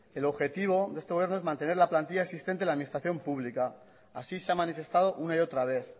el objetivo de este gobierno es mantener la plantilla existente en la administración pública así se ha manifestado una y otra vez